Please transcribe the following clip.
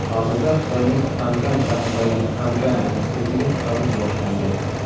Hozirda Xitoyning Ankan shahridagi Ankan universitetiga qabul boshlangan!